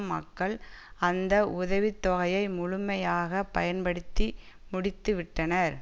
மக்கள் அந்த உதவி தொகையை முழுமையாக பயன்படுத்தி முடித்துவிட்டனர்